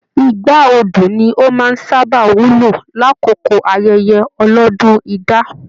Igbá Odu ní o máa n sábà wúlò l'akoko ayẹyẹ ọlọdún idà.